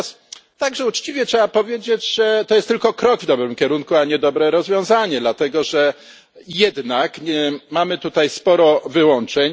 Natomiast także uczciwie trzeba powiedzieć, że to jest tylko krok w dobrym kierunku, a nie dobre rozwiązanie, dlatego że jednak mamy tutaj sporo wyłączeń.